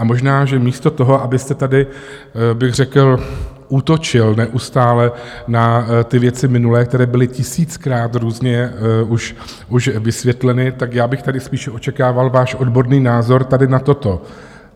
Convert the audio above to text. A možná, že místo toho, abyste tady bych řekl útočil neustále na ty věci minulé, které byly tisíckrát různě už vysvětleny, tak já bych tady spíše očekával váš odborný názor tady na toto.